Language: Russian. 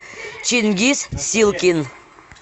чингиз силкин